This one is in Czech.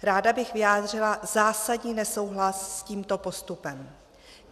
Ráda bych vyjádřila zásadní nesouhlas s tímto postupem.